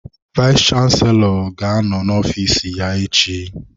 Vayis chansilọ ga-anọ n'ofiis ya echi.